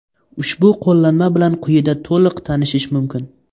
Ushbu qo‘llanma bilan quyida to‘liq tanishish mumkin.